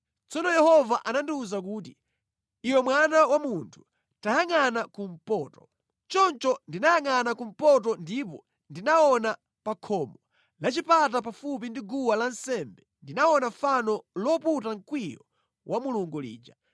Tsono Yehova anandiwuza kuti, “Iwe mwana wa munthu, tayangʼana kumpoto.” Choncho ndinayangʼana kumpoto ndipo ndinaona pa khomo la chipata pafupi ndi guwa lansembe ndinaona fano loputa mkwiyo wa Mulungu lija.